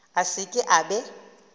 a se ke a be